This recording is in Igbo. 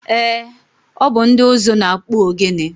Eé, ọ bụ ndị ụzụ na-akpụ ogene.